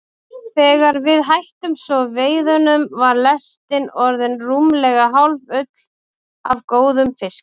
Þegar við hættum svo veiðunum var lestin orðin rúmlega hálffull af góðum fiski.